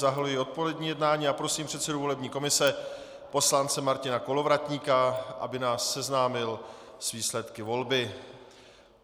Zahajuji odpolední jednání a prosím předsedu volební komise poslance Martina Kolovratníka, aby nás seznámil s výsledky volby.